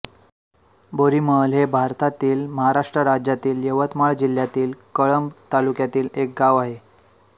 बोरीमहल हे भारतातील महाराष्ट्र राज्यातील यवतमाळ जिल्ह्यातील कळंब तालुक्यातील एक गाव आहे